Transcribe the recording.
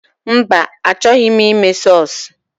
Mba, a chọghi m ime sọsụ.